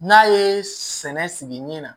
N'a ye sɛnɛ sigi ɲɛ na